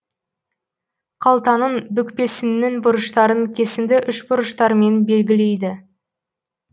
қалтаның бүкпесіннің бұрыштарын кесінді үшбұрыштармен белгілейді